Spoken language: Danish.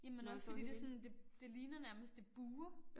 Jamen også fordi det sådan det det ligner nærmest det buer